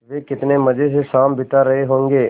वे कितने मज़े से शाम बिता रहे होंगे